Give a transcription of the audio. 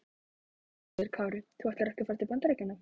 Höskuldur Kári: Þú ætlar ekki að fara til Bandaríkjanna?